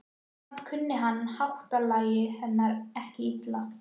Samt kunni hann háttalagi hennar ekki illa.